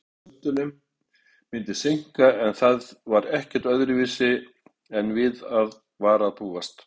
Einhverjum pöntunum myndi seinka en það var ekki öðruvísi en við var að búast.